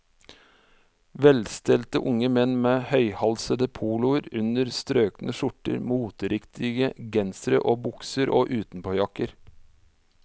Velstelte unge menn med høyhalsede poloer under strøkne skjorter, moteriktige gensere og bukser og utenpåjakker.